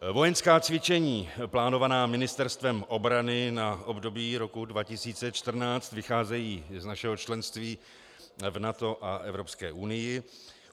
Vojenská cvičení plánovaná Ministerstvem obrany na období roku 2014 vycházejí z našeho členství v NATO a Evropské unii.